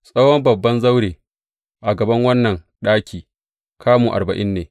Tsawon babban zaure a gaban wannan ɗaki, kamu arba’in ne.